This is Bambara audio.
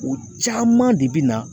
O caman de bɛ na